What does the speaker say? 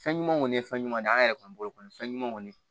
Fɛn ɲuman kɔni ye fɛn ɲuman de an yɛrɛ kɔni bolo kɔni fɛn ɲuman kɔni